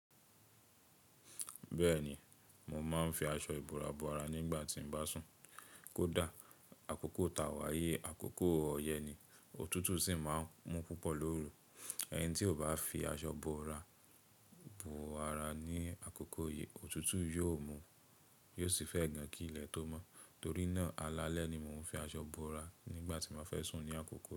Bẹ́ẹ̀ni, mo máa ń fi aṣọ ìbòra bo ara nígbà tí n bá sùn. Kódà àkókò tàwà yé, àkókò ọyẹ ni, òtútù sì máa ń mú púpọ̀ lórù. Ẹni tí o bá fi aṣọ bo ara ní àkókò yìí, òtútù yóò mú, yóò sì fẹ́ gan kí ilẹ̀ tó mọ́. Torí náà, alalẹ́ ni mo ń fi aṣọ bo ara nígbà tí n ba fẹ́ sùn ní àkókò yìí.